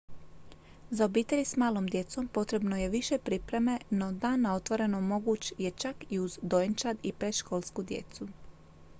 za obitelji s malom djecom potrebno je više pripreme no dan na otvorenon moguć je čak i uz dojenčad i predškolsku djecu